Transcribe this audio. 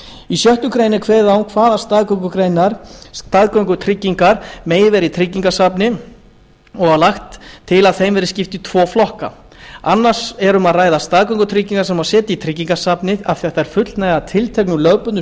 í sjöttu grein er kveðið á um hvaða staðgöngutryggingar megi vera í tryggingasafni og lagt til að þeim verði skipt í tvo flokka annars vegar er um að ræða staðgöngutryggingar sem setja má í tryggingasafnið af því þær fullnægja tilteknum lögbundnum